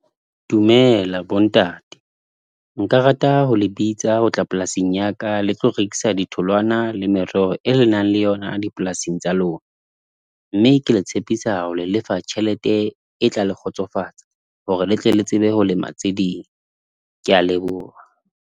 Dumela bontate. Nka rata ho le bitsa ho tla polasing ya ka. Le tlo rekisa di tholwana le mereho, e lenang le yona di polasing tsa lona. Mme ke le tshepisa ho le lefa tjhelete e tla le kgotsofatsa. Hore le tle le tsebe ho lema tse ding. Ke a leboha.